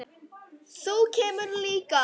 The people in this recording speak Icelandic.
Þú kemur líka.